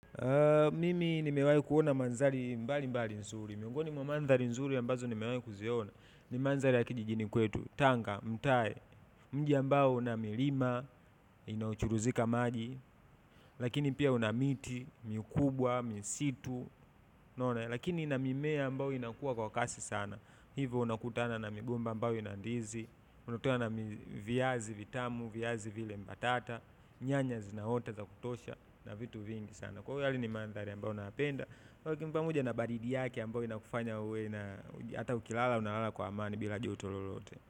Mimi nimewai kuona mandhari mbali mbali nzuri, miongoni mwa mandhari nzuri ambazo nimewai kuziona, ni mandhari ya kijijini kwetu Tanga Mtae, mji ambao una milima inayochuruzika maji lakini pia una miti mikubwa, misitu lakini ina mimea ambayo inakuwa kwa kasi sana, hivo unakutana na migomba ambayo ina ndizi, unakutana na viazi vitamu, viazi vile mbatata, nyanya zinaota za kutosha, na vitu vingi sana. Kwa hiyo yale ni mandhari ambayo nayapenda, kwa hiyo kimpa moja na baridi yake ambao inakufanya uwe ata ukilala unalala kwa amani bila joto lolote.